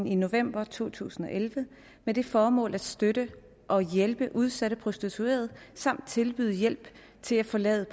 i november to tusind og elleve med det formål at støtte og hjælpe udsatte prostituerede samt tilbyde hjælp til at forlade